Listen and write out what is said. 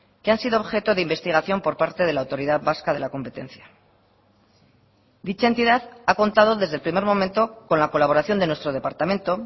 que han sido objeto de investigación por parte de la autoridad vasca de la competencia dicha entidad ha contado desde el primer momento con la colaboración de nuestro departamento